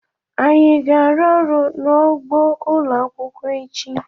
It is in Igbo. Anyị aga arụ ọrụ n'ugbó ụlọakwụkwọ echi?